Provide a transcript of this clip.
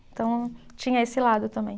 Então, tinha esse lado também.